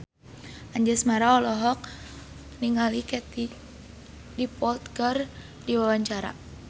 Anjasmara olohok ningali Katie Dippold keur diwawancara